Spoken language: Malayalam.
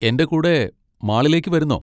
എൻ്റെ കൂടെ മാളിലേക്ക് വരുന്നോ?